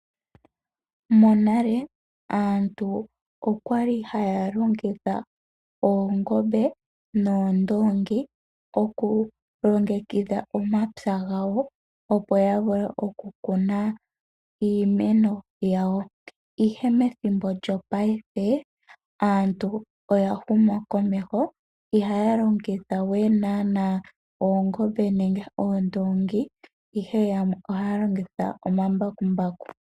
Monale aantu oya li haya longitha oongombe noondoongi okulongekidha omapya gawo, opo ya vule okukuna iimeno yawo, ihe methimbo lyopaife aantu oya huma komeho ihaya longitha we oongombe nenge oondoongi, ihe yamwe ohaya longitha omambakumbaku.